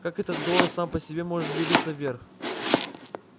как этот голос сам по себе может двигаться вверх